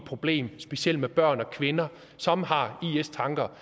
problem specielt med børn og kvinder som har is tanker